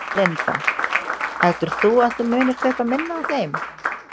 Linda: Heldur þú að þú munir kaupa minna af þeim?